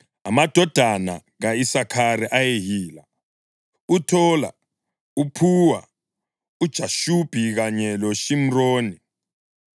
Amadodana ka-Isakhari ayeyila: uThola, uPhuwa, uJashubi kanye loShimroni.